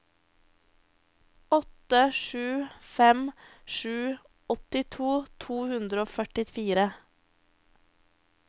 åtte sju fem sju åttito to hundre og førtifire